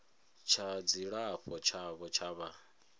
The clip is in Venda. tsha dzilafho tshavho tsha vha